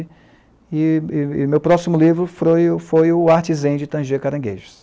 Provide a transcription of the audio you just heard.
E e e meu próximo livro foi foi o Artzen de tanger Caranguejos.